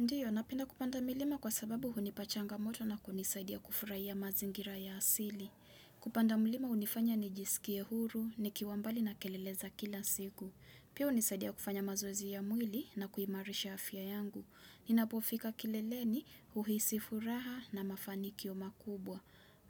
Ndiyo, napenda kupanda milima kwa sababu hunipa changamoto na kunisaidia kufurahia mazingira ya asili. Kupanda milima hunifanya nijisikie huru, nikiwa mbali na kelele za kila siku. Pia hunisaidia kufanya mazoezi ya mwili na kuimarisha afya yangu. Ninapofika kileleni, huhisi furaha na mafanikio makubwa.